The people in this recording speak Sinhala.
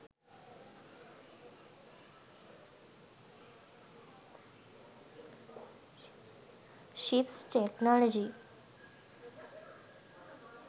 ships technology